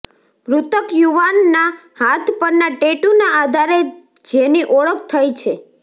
મૃતક યુવાનના હાથ પરના ટેટુના આધારે જેની ઓળખ થઇ છે